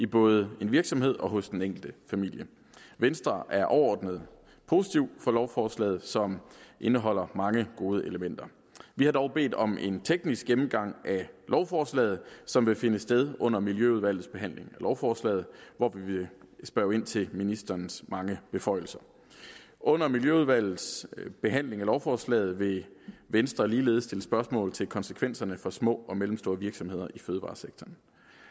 både i en virksomhed og hos den enkelte familie venstre er overordnet positive for lovforslaget som indeholder mange gode elementer vi har dog bedt om en teknisk gennemgang af lovforslaget som vil finde sted under miljøudvalgets behandling af lovforslaget hvor vi vil spørge ind til ministerens mange beføjelser under miljøudvalgets behandling af lovforslaget vil venstre ligeledes stille spørgsmål til konsekvenserne for små og mellemstore virksomheder i fødevaresektoren